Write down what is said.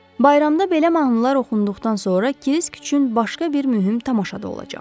Bayramda belə mahnılar oxunduqdan sonra Kirisk üçün başqa bir mühüm tamaşa da olacaq.